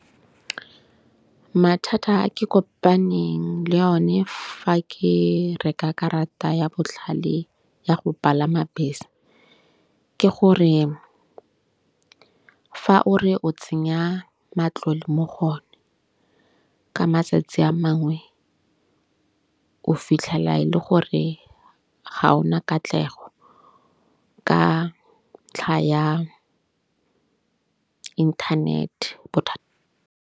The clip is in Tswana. Mathata a ke kopaneng le yone fa ke reka karata ya botlhale ya go palama bese, ke gore fa o re o tsenya matlole mo go one ka matsatsi a mangwe o fitlhela e le gore ga ona katlego ka ntlha ya inthanete .